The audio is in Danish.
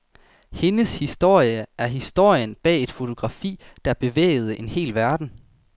Hendes historie er historien bag et fotografi, der bevægede en hel verden.